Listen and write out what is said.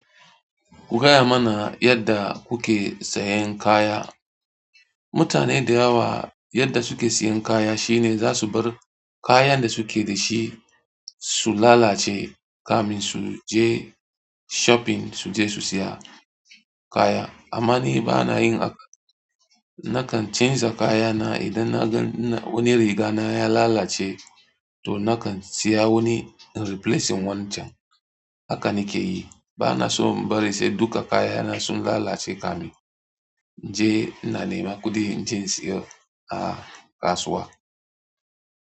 Ku gaya mana yadda kuke sayan kaya. Mutane da yawa yadda suke sayan kaya shine za su bar kayan da suke da shi su lalace kamin su je shopping su je su saya kaya. Amma ni bana yin, nakan chanza kaya na idan na gan wani riga na ya lalace to nakan siya wani in replacing wancan. Haka nake yi. Ba na so in bari sai duka kaya na sun lalace kamin je ina neman kuɗi inje insiyo a kasuwa.